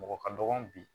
Mɔgɔ ka dɔgɔn bi